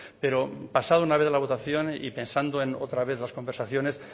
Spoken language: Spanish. pero pasada una vez la votación y pensando en otra vez las conversaciones